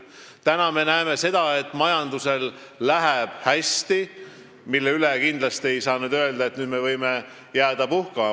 Praegu me näeme seda, et majandusel läheb hästi, aga kindlasti ei saa öelda, et nüüd me võime jääda puhkama.